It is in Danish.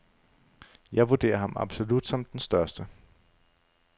Jeg vurderer ham absolut som den største.